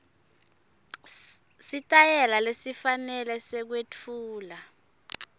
sitayela lesifanele sekwetfula